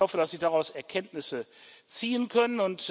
Ich hoffe, dass Sie daraus Erkenntnisse ziehen können.